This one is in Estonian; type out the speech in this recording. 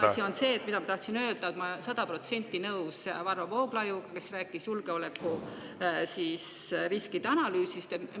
Ja teine asi, mida ma tahtsin öelda, on see, et ma olen sada protsenti nõus Varro Vooglaiuga, kes rääkis julgeolekuriskide analüüsist.